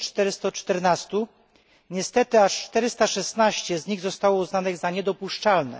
1414. Niestety aż 416 z nich zostało uznanych za niedopuszczalne.